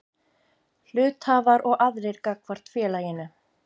Hluthafar og aðrir gagnvart félaginu.